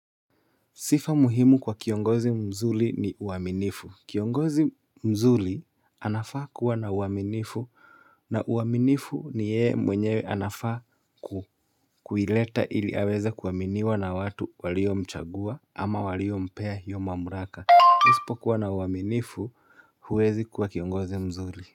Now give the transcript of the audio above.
Sifa muhimu kwa kiongozi mzuri ni uaminifu. Kiongozi mzuri anafaa kuwa na uaminifu na uaminifu ni yeye mwenyewe anafaa kuileta ili aweze kuaminiwa na watu walio mchagua ama walio mpea yoma mamlaka. Usipokuwa na uaminifu huwezi kuwa kiongozi mzuri.